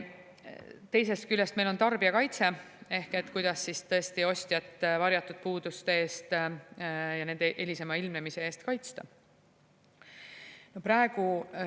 Teisest küljest, meil on tarbijakaitse – ehk kuidas siis tõesti ostjat varjatud puuduste ja nende hilisema ilmnemise eest kaitsta.